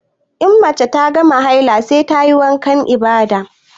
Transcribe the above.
In mace ta gama haila sai tayi wankan ibada